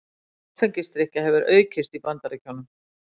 Áfengisdrykkja hefur aukist í Bandaríkjunum